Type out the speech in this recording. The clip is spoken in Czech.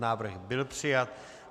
Návrh byl přijat.